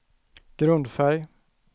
grundfärg